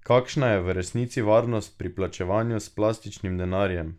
Kakšna je v resnici varnost pri plačevanju s plastičnim denarjem?